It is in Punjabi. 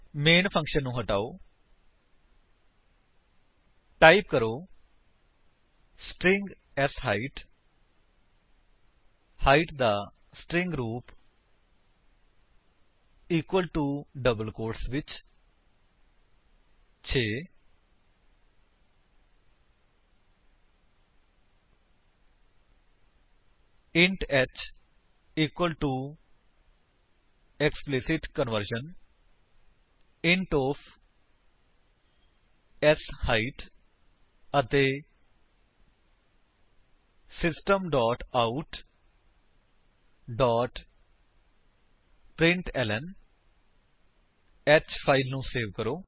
ਮੇਨ ਫੰਕਸ਼ਨ ਨੂੰ ਹਟਾਓ ਟਾਈਪ ਕਰੋ ਸਟ੍ਰਿੰਗ ਸ਼ਾਈਟ ਹਾਇਟ ਦਾ ਸਟ੍ਰਿੰਗ ਰੂਪ ਇਕਵਲ ਟੂ ਡਬਲ ਕੋਟਸ ਵਿੱਚ 6 int h equal to explicit conversion int of sheight ਅਤੇ system dot out dot println h file ਨੂੰ ਸੇਵ ਕਰੋ